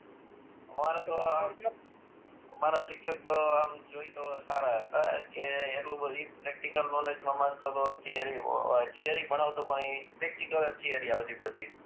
અમાર તો અમારા શિક્ષક તો આમ જોઈ એ તો સારા હતા કે એટલું બધી પ્રેક્ટીકલ નોલેજ માં માનતો તો થીયરી ભણાવતો પણ એ પ્રેક્ટીકલ જ થીયરી આવતી બધી